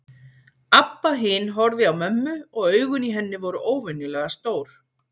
Abba hin horfði á mömmu og augun í henni voru óvenjulega stór.